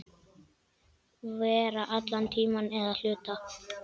Vera allan tímann eða hluta.